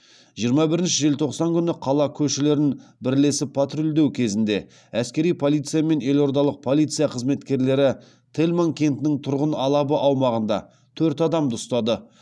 жиырма бірінші желтоқсан күні қала көшелерін бірлесіп патрульдеу кезінде әскери полиция мен елордалық полиция қызметкерлері тельман кентінің тұрғын алабы аумағында төрт адамды ұстады